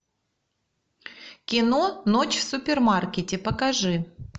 кино ночь в супермаркете покажи